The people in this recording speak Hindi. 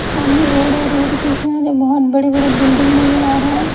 सामने रोड है रोड के किनारे बहुत बड़े-बड़े बिल्डिंग नजर आ रहा है।